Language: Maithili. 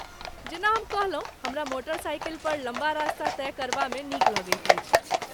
जेना हम कहलहुँ, हमरा मोटरसाइकिल पर लम्बा रास्ता तय करबा मे नीक लगैत अछि।